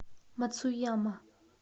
мацуяма